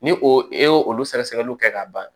Ni o e y'o olu sɛgɛsɛgɛliw kɛ ka ban